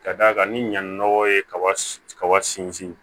Ka d'a kan ni ɲannɔgɔ ye kaba sinsin